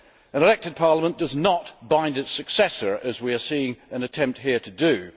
An elected Parliament does not bind its successor as we are seeing an attempt here to do.